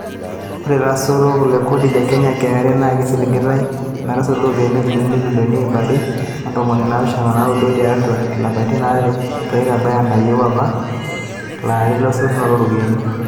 Ore lasotok le kodi le Kenya(KRA) naa keisiligitai metasotu irropiani injilingini ibilioni iip aare oo ntomoni naapishan o naaudo tiatu ilapaitin aare peitabaya anayieu apa to laari lesotunoto ooropiyiani.